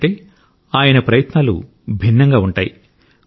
ఎందుకంటే ఆయన ప్రయత్నాలు భిన్నంగా ఉంటాయి